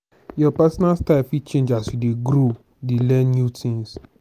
your personal style fit change as you dey grow dey learn new things.